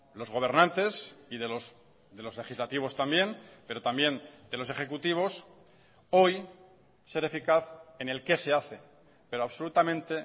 los gobernantes y de los legislativos también pero también de los ejecutivos hoy ser eficaz en el qué se hace pero absolutamente